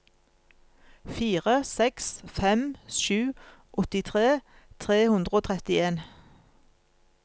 fire seks fem sju åttitre tre hundre og trettien